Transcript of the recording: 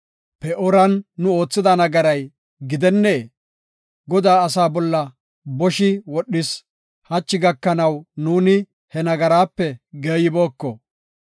Pe7ooran nu oothida nagaray gidennee? Godaa asaa bolla boshi wodhis; hachi gakanaw nuuni he nagaraape geeyibooko.